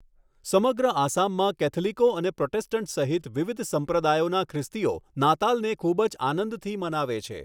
સમગ્ર આસામમાં કૅથલિકો અને પ્રોટેસ્ટંટ સહિત વિવિધ સંપ્રદાયોના ખ્રિસ્તીઓ નાતાલને ખૂબ જ આનંદથી મનાવે છે.